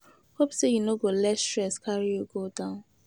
Hope say you no go let stress carry you go down.